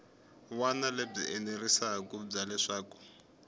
wana lebyi enerisaku bya leswaku